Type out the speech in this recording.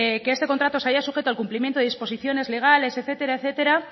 que este contrato se haya sujeto al complimiento de disposiciones legales etcétera etcétera